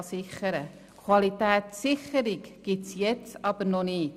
Eine Qualitätssicherung gibt es jetzt aber noch nicht.